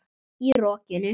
Í rokinu?